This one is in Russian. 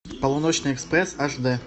полуночный экспресс аш дэ